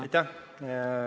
Aitäh!